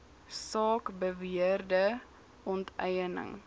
saak beweerde onteiening